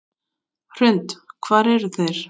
Hrund: Hvar eru þeir?